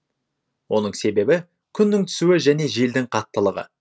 оның себебі күннің түсуі және желдің қаттылығы